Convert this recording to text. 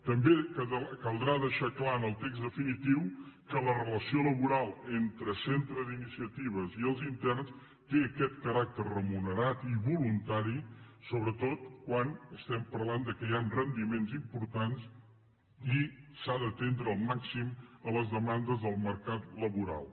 també caldrà deixar clar en el text definitiu que la relació laboral entre el centre d’iniciatives i els interns té aquest caràcter remunerat i voluntari sobretot quan estem parlant que hi han rendiments importants i s’ha d’atendre al màxim les demandes del mercat laboral